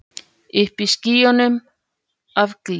Uppi í skýjunum af gleði.